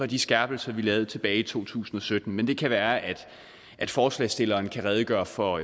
de skærpelser vi lavede tilbage i to tusind og sytten men det kan være at forslagsstillerne kan redegøre for